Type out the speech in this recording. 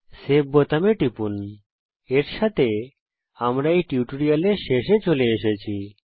save বোতামে টিপুন এর সাথে আমরা এই টিউটোরিয়ালের শেষে চলে এসেছি